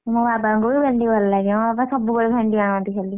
ମୋ ବାବାଙ୍କୁ ବି ଭେଣ୍ଡି ଭଲ ଲାଗେ, ମୋ ବାବା ସବୁବେଳେ ଭେଣ୍ଡି ଆଣନ୍ତି ଖାଲି।